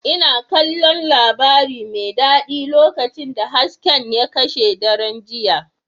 Ina kallon labari mai daɗi lokacin da hasken ya kashe daren jiya.